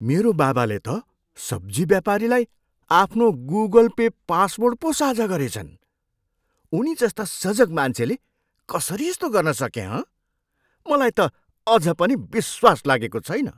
मेरा बाबाले त सब्जी व्यापारीलाई आफ्नो गुगल पे पासर्ड पो साझा गरेछन्। उनीजस्ता सजग मान्छेले कसरी यस्तो गर्न सके, हँ? मलाई त अझ पनि विश्वास लागेको छैन।